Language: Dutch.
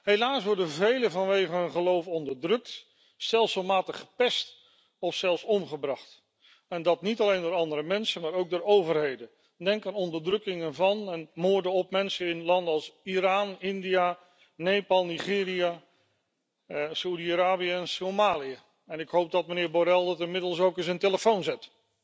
Helaas worden velen vanwege hun geloof onderdrukt, stelselmatig gepest of zelfs omgebracht, en dat niet alleen door andere mensen maar ook door overheden. Denk aan onderdrukkingen van en moorden op mensen in landen als Iran, India, Nepal, Nigeria, Saudi Arabië en Somalië, en ik hoop dat mijnheer Borrell dat inmiddels ook in zijn telefoon zet.